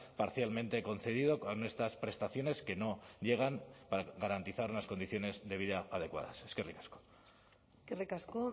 parcialmente concedido con estas prestaciones que no llegan para garantizar unas condiciones de vida adecuadas eskerrik asko eskerrik asko